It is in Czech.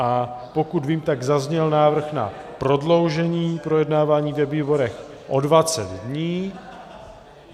A pokud vím, tak zazněl návrh na prodloužení projednávání ve výborech o 20 dní.